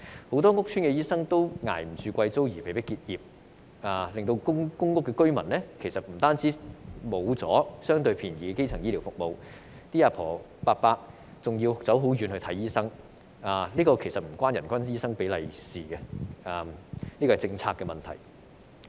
很多屋邨醫生負擔不起昂貴租金而被迫結業，令公屋居民失去了相對便宜的基層醫療服務，長者要到較遠的地方看醫生，這方面與人均醫生比例無關，是政策的問題。